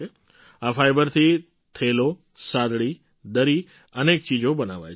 આ ફાઇબરથી થેલો સાદડી દરી અનેક ચીજો બનાવાય છે